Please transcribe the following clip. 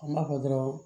An b'a fɔ dɔrɔn